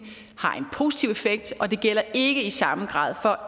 har en positiv effekt og det gælder ikke i samme grad for